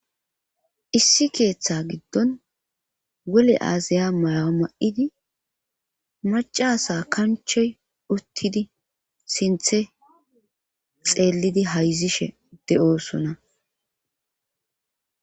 Issi keeththa giddon wole aazaya maya ma'idi macasa kanchoy uttidi sinthe xeellidi hayzishe de'oosona.